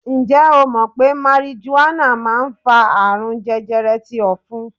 Ǹjẹ́ o mọ̀ pé marijuana máa ń fa àrùn jẹjẹrẹ ti ofun?